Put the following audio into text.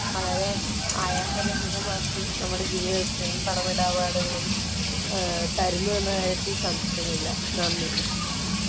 വളരെ ആയാസരഹിതമാക്കി നമ്മുടെ ജീവിതത്തെയും, പണമിടപാടുകളെയും തരുന്നു എന്ന കാര്യത്തില്‍ സംശയമില്ല. നന്ദി.